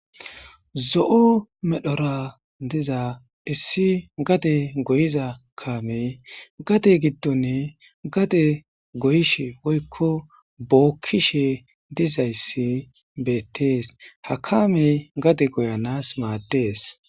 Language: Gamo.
Zo'o medhora diza issi gade goyiza kaame gade giddon gade goyishe woykko bookkishe dizayssi beettees. Ha kamey gade goyanas maaddees.